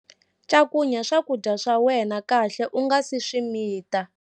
Cakunya swakudya swa wena kahle u nga si swi mita.